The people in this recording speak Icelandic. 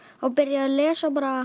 byrjaði að lesa bara